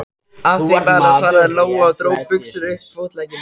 Af því bara, svaraði Lóa og dró buxurnar upp fótleggina.